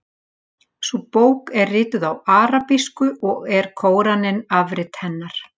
Sú bók er rituð á arabísku og er Kóraninn afrit hennar.